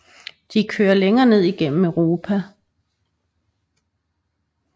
De kører længere ned gennem Europa